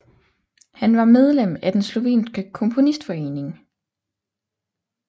Han var medlem af den Slovenske Komponistforening